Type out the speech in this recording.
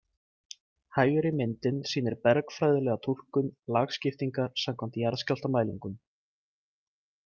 Hægri myndin sýnir bergfræðilega túlkun lagskiptingar samkvæmt jarðskjálftamælingum.